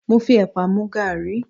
Mo fi epa mu garí